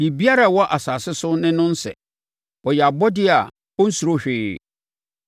Biribiara a ɛwɔ asase so ne no nsɛ. Ɔyɛ abɔdeɛ a ɔnsuro hwee.